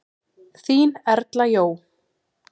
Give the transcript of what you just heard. Þín Erla Jó.